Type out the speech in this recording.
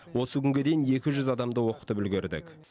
осы күнге дейін екі жүз адамды оқытып үлгердік